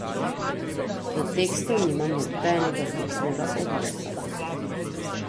Do tekstov nimam nobenega fiksnega odnosa.